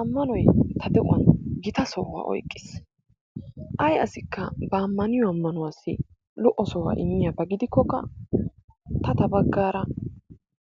Ammanoy ta de'uwan gita sohuwa oyqqiis. Ay asikka ba ammaniyo ammanuwassi lo''o sohuwa immiyoba gidikkokka, ta ta baggaara